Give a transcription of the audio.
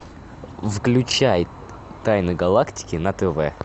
включай тайны галактики на тв